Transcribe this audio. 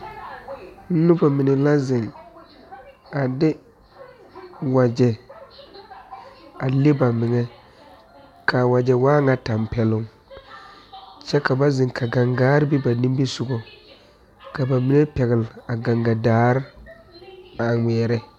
Nobɔ mine la zeŋ a de wagyɛ a le ba meŋɛ kaa wagyɛ waa ŋa tampɛloŋ kyɛ ka ba zeŋ ka gaŋgaare be nimisugɔ ka ba mine pɛgle a gaŋga daare a ngmɛɛrɛ.